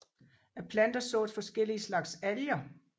Af planter sås forskellige slags alger